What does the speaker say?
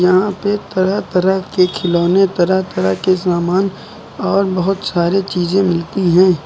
यहां पे तरह तरह के खिलौने तरह तरह के समान और बहुत सारी चीजें मिलती हैं।